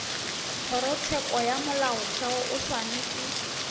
kgorotsheko ya molaotheo o swanetše